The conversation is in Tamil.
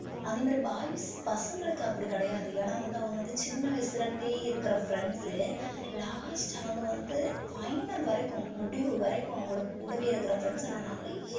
அதே மாதிரி boys பசங்களுக்கு அப்படி கிடையாது ஏன்னா வந்து அவங்க வந்து சின்ன வயசுல இருந்தே இருக்கிற friends Last அவங்க வந்து final வரைக்கும் முடிவு வரைக்கும் அவங்களுக்கு கூடவே இருக்கிற friends நான் நிறைய